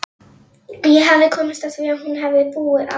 Ég hafði komist að því að hún hafði búið á